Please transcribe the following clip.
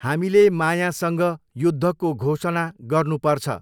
हामीले मायासँग युद्धको घोसणा गर्नुपर्छ।